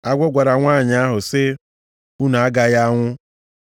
Agwọ gwara nwanyị ahụ sị, “Unu agaghị anwụ.